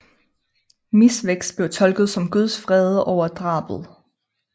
Misvækst blev tolket som Guds vrede over drabet